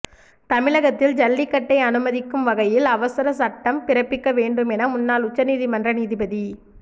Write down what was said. தமிழகத்தில் ஜல்லிக்கட்டை அனுமதிக்கும் வகையில் அவசர சட்டம் பிறப்பிக்க வேண்டும் என முன்னாள் உச்ச நீதிமன்ற நீதிபதி